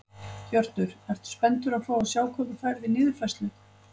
Hjörtur: Ertu spenntur að fá að sjá hvað þú færð í niðurfærslu?